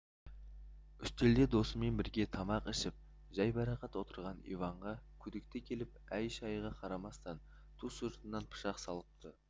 үстелде досымен бірге тамақ ішіп жайбарақат отырған иванға күдікті келіп әй-шайға қарамастан ту сыртынан пышақ салыпты